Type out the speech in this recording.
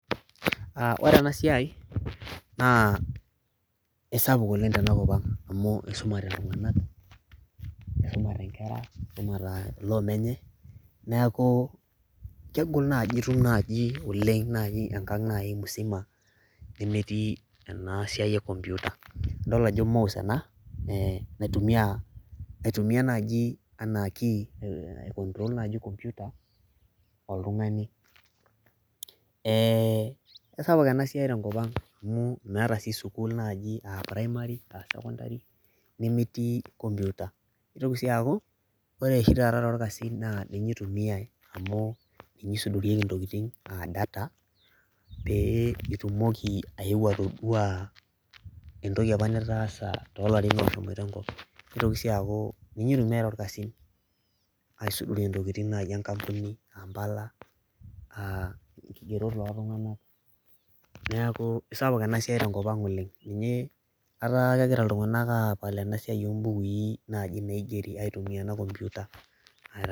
Ore ena siai naa aisapuk oleng' tena kop ang' amu isumate iltung'anak isumate nkera loota loo menye neeku kegol naaji itum naaji oleng' enkang' naaji enkang' nai musima nemetii ena siai e komputa, idol ajo mouse ena ee naitumia naitumia naaji enaa key aicontrol naji komputa oltung'ani. Ee kesapuk ena siai tenkop ang' amu meeta sii sukuul naaji a primary, a secondary, nemetii komputa. Nitoki sii aaku ore oshi taata torkasin naa ninye itumiai amu ninye isudorieki ntokitin aa data, pee itumoki ayeu atodua entoki apa nitaasa too larin ooshomoita. Nitoki sii aaku ninye itumiai toorkasin aisudorie ntokitin naaji enkampuni aa mbala aa nkigerot ooltung'anak. Neeku sapuk ena siai tenkop ang' oleng' ninye etaa kegira iltung'anak aapal ena siai o mbukui naaji naigeri aitumia ena komputa aa..